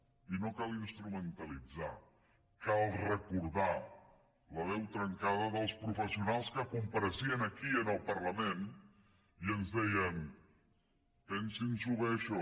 i no cal instrumentalitzar cal recordar la veu trencada dels professionals que compareixien aquí en el parlament i ens deien pensin s’ho bé això